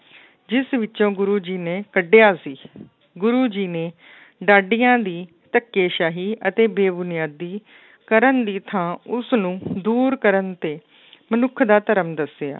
ਜਿਸ ਵਿੱਚੋਂ ਗੁਰੂ ਜੀ ਨੇ ਕੱਢਿਆ ਸੀ ਗੁਰੂ ਜੀ ਨੇ ਡਾਡੀਆਂ ਦੀ ਧੱਕੇਸ਼ਾਹੀ ਅਤੇ ਬੇਬੁਨਿਆਦੀ ਕਰਨ ਦੀ ਥਾਂ ਉਸਨੂੰ ਦੂਰ ਕਰਨ ਤੇ ਮਨੁੱਖ ਦਾ ਧਰਮ ਦੱਸਿਆ।